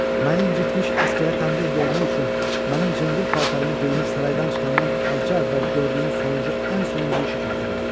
Məni incitmiş əsgərə tənbeh vermək üçün mənim cındır paltarımı geyinib saraydan çıxandan azca əvvəl gördüyün sonuncu ən sonuncu işi xatırla.